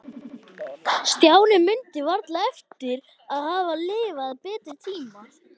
Stjáni mundi varla eftir að hafa lifað betri tíma.